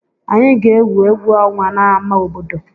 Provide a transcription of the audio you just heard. Anyị ga-egwu egwu ọnwa n'ámá obodo.